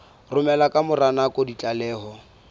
romela ka mora nako ditlaleho